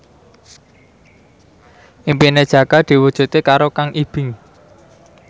impine Jaka diwujudke karo Kang Ibing